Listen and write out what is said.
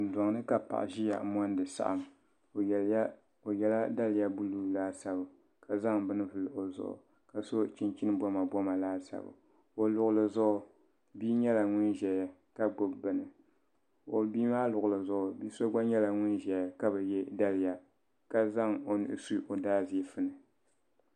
dondoni ka paɣ' ʒɛya n monidi saɣim o yɛla daliya din nyɛ buluu laasabu ka zaŋ beni vuli o zuɣ' ka so chichini komakoma laasabu o luɣuli zuɣ' bia nyɛla ŋɔ ʒɛya ka gbabi bɛni ka o bia maa luɣili zuɣ' bia gba nyɛla ŋɔʒɛya ka yɛ daliya ka zaŋ o nuu su o daajiƒuni